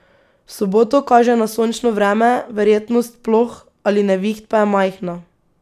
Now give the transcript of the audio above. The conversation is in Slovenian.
V soboto kaže na sončno vreme, verjetnost ploh ali neviht pa je majhna.